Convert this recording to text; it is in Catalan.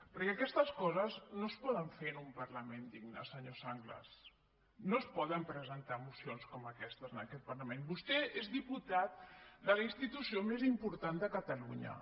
perquè aquestes coses no es poden fer en un parlament digne senyor sanglas no es poden presentar mocions com aquestes en aquest parlament vostè és diputat de la institució més important de catalunya